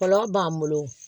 Kɔlɔlɔ b'an bolo